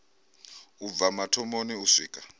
u bva mathomoni u swika